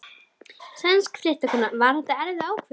Sænsk fréttakona: Var þetta erfið ákvörðun?